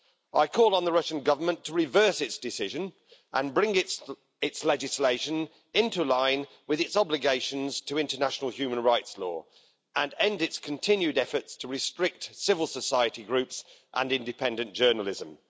I call on the Russian Government to reverse its decision, bring its legislation into line with its obligations to international human rights law, and end its continued efforts to restrict civil society groups and independent journalism.